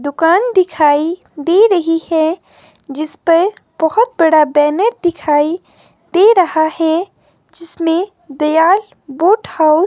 दुकान दिखाई दे रही है जिसपे बहोत बड़ा बैनर दिखाई दे रहा है जिसमें दयाल बूट हाउस --